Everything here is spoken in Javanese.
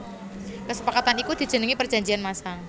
Kesepakatan iku dijenengi Perjanjian Masang